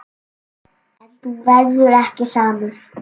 En þú verður ekki samur.